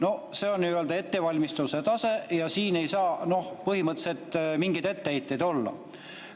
No see on nii-öelda ettevalmistuse tase ja siin ei saa põhimõtteliselt mingeid etteheiteid olla.